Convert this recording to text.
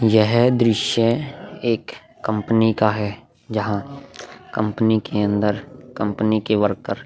यह दृश्य एक कंपनी का है जहां कंपनी के अंदर कंपनी के वर्कर --